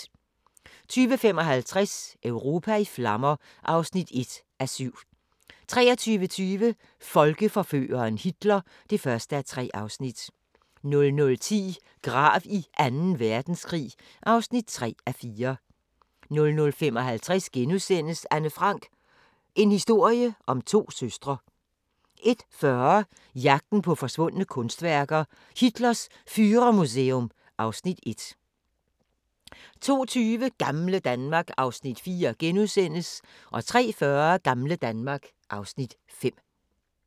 20:55: Europa i flammer (1:7) 23:20: Folkeforføreren Hitler (1:3) 00:10: Grav i Anden verdenskrig (3:4) 00:55: Anne Frank - en historie om to søstre * 01:40: Jagten på forsvundne kunstværker: Hitlers Führermuseum (Afs. 1) 02:20: Gamle Danmark (Afs. 4)* 03:40: Gamle Danmark (Afs. 5)